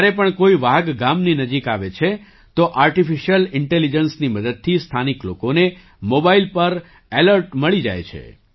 જ્યારે પણ કોઈ વાઘ ગામની નજીક આવે છે તો આર્ટિફિશ્યલ ઇન્ટેલીજન્સ ની મદદથી સ્થાનિક લોકોને મોબાઇલ પર એલર્ટ મળી જાય છે